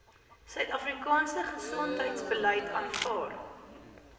suidafrikaanse gesondheidsbeleid aanvaar